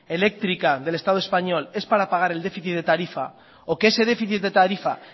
eléctrica del estado español es para pagar el déficit de tarifa o que ese déficit de tarifa